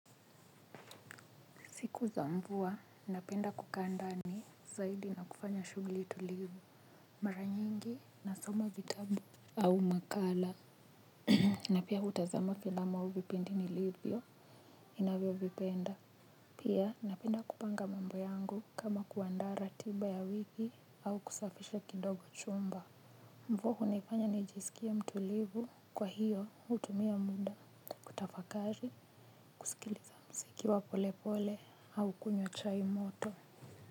Siku za mvua, napenda kukaa ndani zaidi na kufanya shuguli tulivu mara nyingi na soma vitabu au makala. Na pia hutazama filamu au vipindi nilivyo ninavyo vipenda. Pia napenda kupanga mambo yangu kama kuanda ratiba ya wiki au kusafisha kidogo chumba. Mvua hunifanya nijisikie mtulivu kwa hiyo hutumia muda kutafakari kusikiliza mziki wa pole pole au kunywa chai moto.